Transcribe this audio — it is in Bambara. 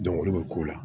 olu bɛ ko la